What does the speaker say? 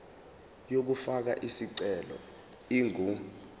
yokufaka isicelo ingu